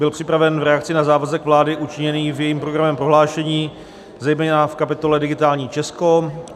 Byl připraven v reakci na závazek vlády učiněný v jejím programovém prohlášení, zejména v kapitole Digitální Česko.